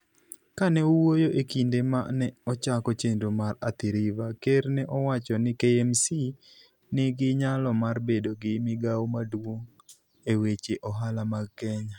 Kane owuoyo e kinde ma ne ochako chenro mar Athi-River, ker ne owacho ni KMC nigi nyalo mar bedo gi migawo maduong' e weche ohala mag Kenya.